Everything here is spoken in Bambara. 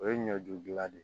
O ye ɲɔju gila de